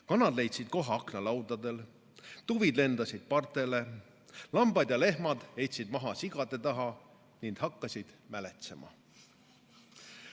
Kanad leidsid koha aknalaudadel, tuvid lendasid partele, lambad ja lehmad heitsid maha sigade taha ning hakkasid mäletsema.